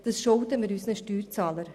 Das schulden wir unseren Steuerzahlern.